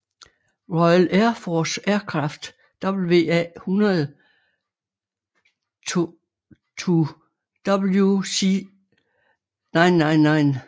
Royal Air Force Aircraft WA100 to WZ999